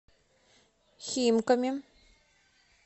химками